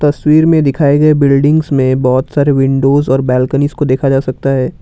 तस्वीर में दिखाए गए बिल्डिंग्स में बहुत सारे विंडोज और बालकनीज को देखा जा सकता है।